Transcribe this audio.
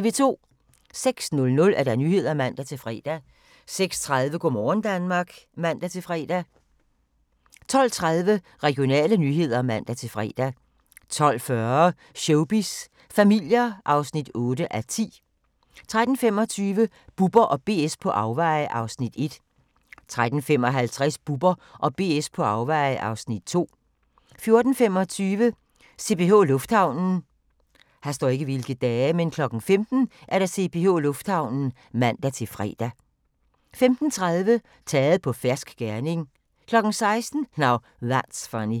06:00: Nyhederne (man-fre) 06:30: Go' morgen Danmark (man-fre) 12:30: Regionale nyheder (man-fre) 12:40: Showbiz familier (8:10) 13:25: Bubber & BS på afveje (Afs. 1) 13:55: Bubber & BS på afveje (Afs. 2) 14:25: CPH Lufthavnen 15:00: CPH Lufthavnen (man-fre) 15:30: Taget på fersk gerning 16:00: Now That's Funny